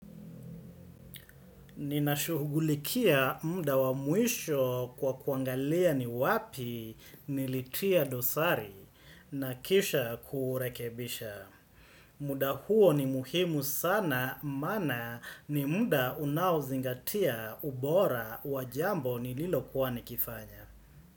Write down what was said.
Ninashuhugulikia muda wa mwishoo kwa kuangalia ni wapii nilitia dosari na kisha kurekebishaa. Muda huo ni muhimu sana maana ni muda unaozigatia ubora wa jambo nililokuwa nikifanya.